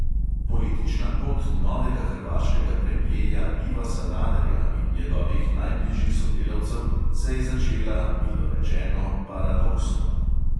Politična pot novega hrvaškega premjeja iva sanaderja in njegovih najbližjih sodelavcev se je začela, milo rečeno, "paradoksno".